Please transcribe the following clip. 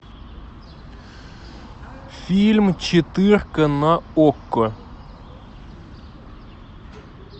фильм четырка на окко